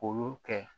O y'o kɛ